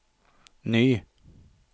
ny